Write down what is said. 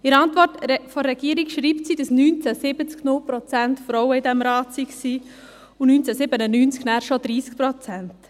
In ihrer Antwort schreibt die Regierung, dass 1970 0 Prozent Frauen in diesem Rat waren und 1997 dann bereits 30 Prozent.